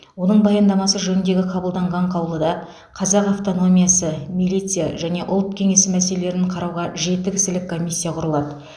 оның баяндамасы жөніндегі қабылданған қаулыда қазақ автономиясы милиция және ұлт кеңесі мәселелерін қарауға жеті кісілік комиссия құрылады